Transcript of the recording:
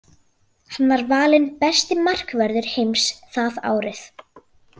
Hann var valinn besti markvörður heims það árið.